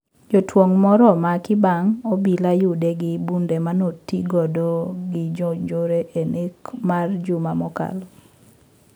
Jotuong` moro omaki bang` obila yude gi bunde manotigodo gi jonjore e nek ma juma mokalo